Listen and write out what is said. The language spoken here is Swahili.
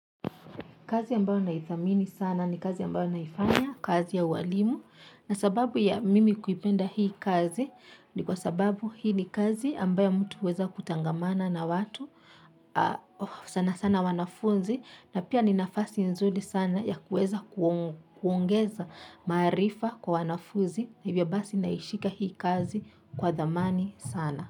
Kazi ambayo naithamini sana ni kazi ambayo naifanya, kazi ya ualimu, na sababu ya mimi kuipenda hii kazi ni kwa sababu hii ni kazi ambayo mtu huweza kutangamana na watu, sana sana wanafunzi na pia ni nafasi nzuri sana ya kuweza kuongeza maarifa kwa wanafunzi hivyo basi naishika hii kazi kwa thamani sana.